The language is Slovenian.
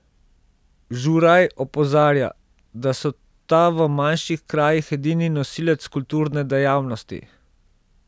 Žuraj opozarja, da so ta v manjših krajih edini nosilec kulturne dejavnosti.